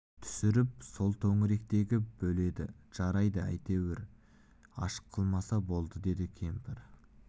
түсіріп сол төңіректегі бөледі жарайды әйтеуір аш қылмаса болды деп кемпір